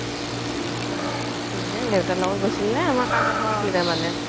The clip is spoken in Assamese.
দেউতাৰ লগ্ত গৈছিলে আমাৰ কাজ এখন আছিল তাৰ মানে